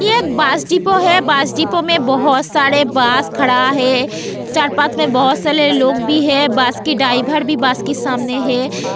ये bus depot है bus depot में बहुत सारे बस खड़ा है चार पांच में बहुत सारे लोग भी है बस की ड्राइवर भी बस की सामने है.